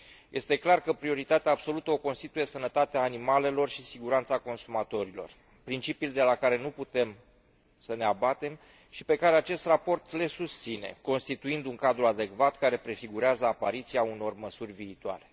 Este clar că prioritatea absolută o constituie sănătatea animalelor și siguranța consumatorilor, principii de la care nu putem să ne abatem și pe care acest raport le susține, constituind un cadru adecvat care prefigurează apariția unor măsuri viitoare.